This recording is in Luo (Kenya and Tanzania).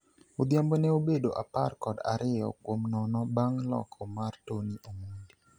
Odhiambo ne obedo apar kod ariyo kuom nono bang' loko mar Tony Omondi.